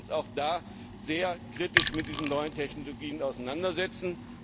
Nein, wir müssen uns da sehr kritisch mit den neuen Technologien auseinandersetzen.